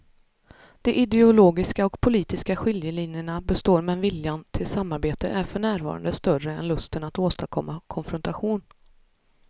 De ideologiska och politiska skiljelinjerna består men viljan till samarbete är för närvarande större än lusten att åstadkomma konfrontation.